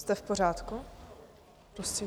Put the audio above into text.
Jste v pořádku prosím?